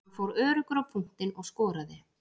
Hann fór öruggur á punktinn og skoraði.